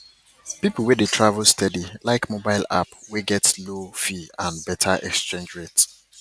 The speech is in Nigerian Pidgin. people wey travel steady like mobile app wey get low fee and better exchange rate